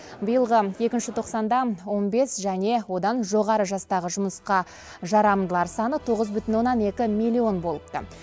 биылғы екінші тоқсанда он бес және одан жоғары жастағы жұмысқа жарамдылар саны тоғыз бүтін оннан екі миллион болыпты